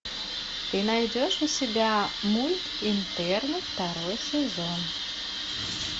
ты найдешь у себя мульт интерны второй сезон